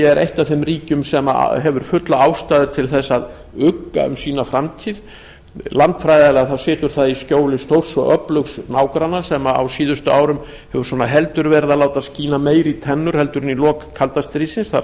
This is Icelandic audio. er eitt af þeim ríkjum sem hefur fulla ástæðu til þess að ugga um sína framtíð landfræðilega situr það í skjóli stórs og öflugs nágranna sem á síðustu árum hefur heldur verið að láta skína meira í tennur en í lok kalda stríðsins